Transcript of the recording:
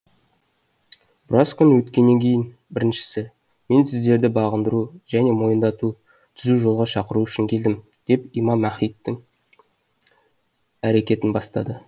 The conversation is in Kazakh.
біраз күн өткеннен кейін біріншісі мен сіздерді бағындыру және мойындату түзу жолға шақыру үшін келдім деп имам махдидің әрекетін бастады